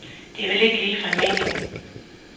Det er vel ikke ligefrem meningen.